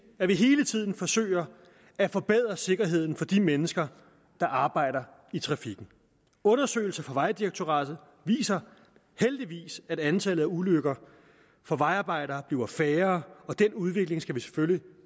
at vi hele tiden forsøger at forbedre sikkerheden for de mennesker der arbejder i trafikken undersøgelser fra vejdirektoratet viser heldigvis at antallet af ulykker for vejarbejdere bliver færre og den udvikling skal selvfølgelig